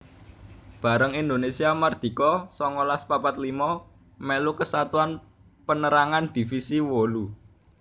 Bareng Indonésia mardika songolas papat limo mèlu Kesatuan Pénérangan Divisi wolu